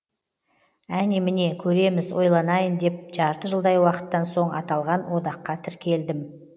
әне міне көреміз ойланайын деп жарты жылдай уақыттан соң аталған одаққа тіркелдім